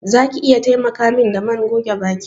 Za ki iya taimaka min da man goge baki?